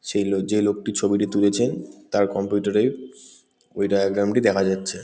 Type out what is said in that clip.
সেই লো যেই লোকটি ছবিটি তুলেছে তার কম্পিউটার -এ ওই ডায়াগ্রাম -টি দেখা যাচ্ছে ।